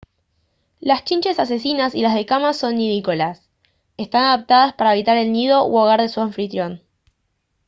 las chinches asesinas y las de cama son nidícolas están adaptadas para habitar el nido u hogar de su anfitrión